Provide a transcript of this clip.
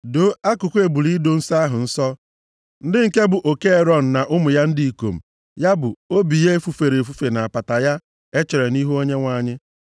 “Doo akụkụ ebule ido nsọ ahụ nsọ, ndị nke bụ oke Erọn na ụmụ ya ndị ikom, ya bụ, obi ya e fufere efufe na apata ya e chere nʼihu Onyenwe anyị.